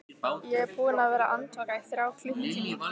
Ég er búinn að vera andvaka í þrjá klukkutíma.